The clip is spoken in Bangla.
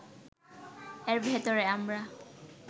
এর ভেতরে আমরা